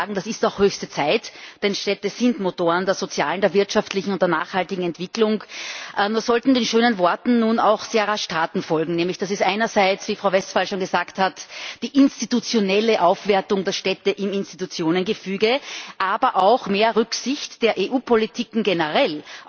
Das ist auch höchste Zeit, denn Städte sind Motoren der sozialen, der wirtschaftlichen und der nachhaltigen Entwicklung. Nun sollten den schönen Worten auch sehr rasch Taten folgen. Das ist einerseits, wie Frau Westphal schon gesagt hat, die institutionelle Aufwertung der Städte im Institutionengefüge, aber auch mehr Rücksicht der EU Politiken generell